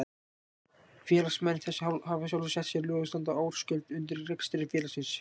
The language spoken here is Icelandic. Félagsmenn þess hafa sjálfir sett sér lög og standa ársgjöld undir rekstri félagsins.